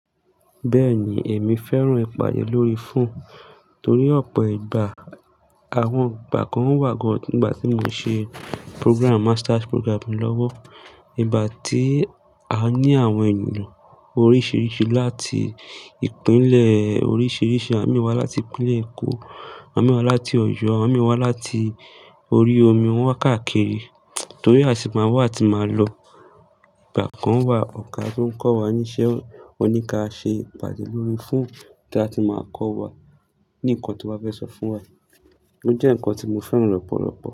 Bẹ́ẹ̀ni, èmi fẹ́ràn ìpàdé lórí fóònù torí ọ̀pọ̀ ìgbà, àwọn ìgbà kan wà gán-nígbà tí mo ṣe program, master's program lọ́wọ́, ìgbà tí a ní àwọn ènìyàn oríṣiríṣi láti ìpínlẹ̀ oríṣiríṣi, àwon mi wá láti ìpínlẹ̀ Èkó, awon mi wá láti Ọ̀yọ́, àwon mi wá láti orí omi, wọ́n wá káàkiri. Torí a sì máa wá àti máa lọ. Ìgbà kan wà ọ̀gà tó ń kọ́ wa ní iṣẹ́, ó ní ká ṣe ìpàdé lórí fóònù tí a ti máa kọ́ wa ní nkan to ba fẹ́ sọ fún wa. Ó jẹ́ ǹkan tí mo fẹ́ràn lọ́pọ̀lọ̀pọ̀